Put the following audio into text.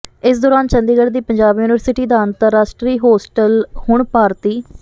ਇਸ ਦੌਰਾਨ ਚੰਡੀਗੜ੍ਹ ਦੀ ਪੰਜਾਬ ਯੂਨੀਵਰਸਿਟੀ ਦਾ ਅੰਤਰਰਾਸ਼ਟਰੀ ਹੋਸਟਲ ਹੁਣ ਭਾਰਤੀ